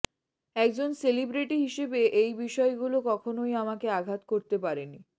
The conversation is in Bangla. একজন সেলিব্রেটি হিসেবে এই বিষয়গুলো কখনই আমাকে আঘাত করতে পারেনি